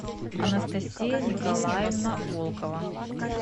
анастасия николаевна волкова